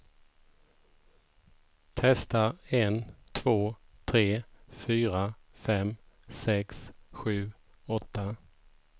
Testar en två tre fyra fem sex sju åtta.